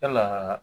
Yalaa